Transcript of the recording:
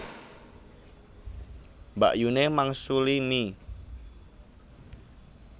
Mbakyune mangsuli mie